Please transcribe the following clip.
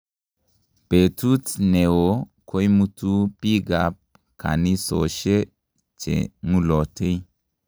Betut ne oo koimutuu bikab kanisoshe che ng'ulotei.